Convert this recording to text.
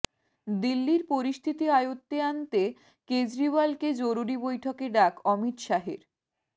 দিল্লির পরিস্থিতি আয়ত্তে আনতে কেজরিওয়ালকে জরুরি বৈঠকে ডাক অমিত শাহের